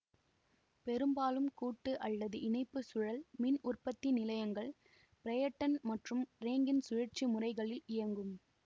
பெரும்பாலும் கூட்டு அல்லது இணைப்பு சுழல் மின் உற்பத்தி நிலையங்கள் பிரெய்ட்டன் மற்றும் ரேங்கின் சுழற்சி முறைகளில் இயங்கும்